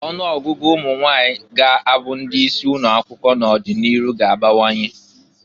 Ọnụ ọgụgụ ụmụnwanyị ga-abụ ndị isi ụnọ akwụkwọ n'ọdị n'iru ga-abawanye.